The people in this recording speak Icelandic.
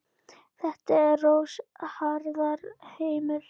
Þetta er rosa harður heimur.